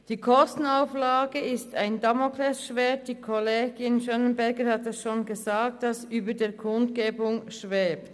Die Kostenauflage ist ein Damoklesschwert, welches wie Kollegin Gabi Schönenberger gesagt hat über den Kundgebungen schwebt.